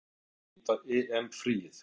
Hvernig hyggst Ólafur nýta EM fríið?